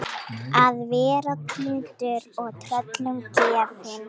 Að vera týndur og tröllum gefin